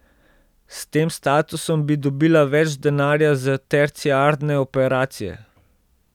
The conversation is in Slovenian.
S tem statusom bi dobila več denarja za terciarne operacije.